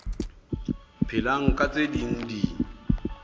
phelang ka tse ding di